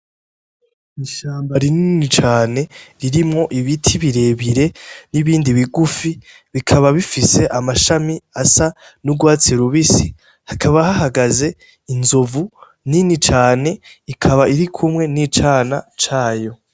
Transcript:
Ishamba rinini cane ririmwo ibiti birebire, n'ibindi bigufi bikaba bifise amashami asa n'urwatsi rubisi hakaba hahagaze inzovu nini cane, ikaba irikumwe ni icana cayo.